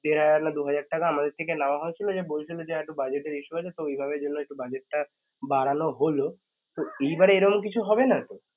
দের হাজার না দুই হাজার টাকা আমাদের থেকে নেয়া হয়েছিল যে বলেছিল যে আরেকটু budget এর issue আছে তো ওইভাবে যেন budget টা বাড়ানো হল তো এইবারে এরকম কিছু হবে না তো